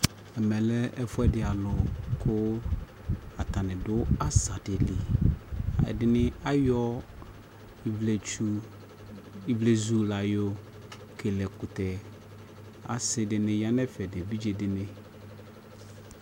Ɛmɛ lɛ ɛfuɛdi alʋ kʋ atani dʋ asa di li Ɛdini ayɔ ivletsu ivlezu la yɔ kele ɛkʋtɛ Asi dini ya nʋ ɛfɛ dunʋ evidze dini